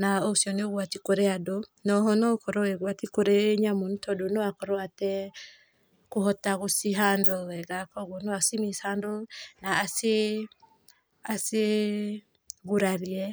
na ũcio nĩ ũgwati kũrĩ andũ naoho no ũkũrwo ũrĩ ũgwati kũrĩ nyamũ nĩ tondũ no akorwo atekũhota gũci handle wega, kwoguo no aci mishandle na acigurarie.